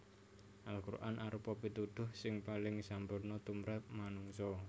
Al Quran arupa pituduh sing paling sampurna tumrap manungsa